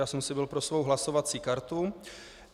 Já jsem si byl pro svou hlasovací kartu.